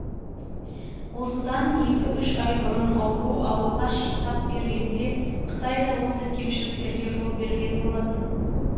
осыдан екі үш ай бұрын ауру алғаш тап бергенде қытай да осы кемшіліктерге жол берген болатын